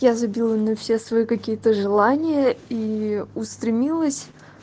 я забила на все свои какие-то желания и устремилась